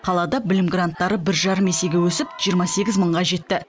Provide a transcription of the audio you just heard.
қалада білім гранттары бір жарым есеге өсіп жиырма сегіз мыңға жетті